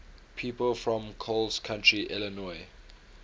people from coles county illinois